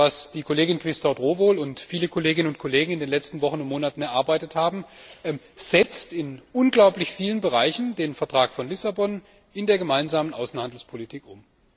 Denn was die Kollegen Quisthoudt Rowohl und viele Kolleginnen und Kollegen in den letzten Wochen und Monaten erarbeitet haben, setzt in sehr vielen Bereichen den Vertrag von Lissabon in der Gemeinsamen Außenhandelspolitik um.